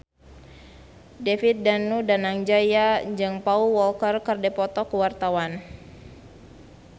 David Danu Danangjaya jeung Paul Walker keur dipoto ku wartawan